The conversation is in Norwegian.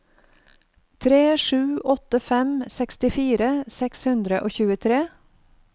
tre sju åtte fem sekstifire seks hundre og tjuetre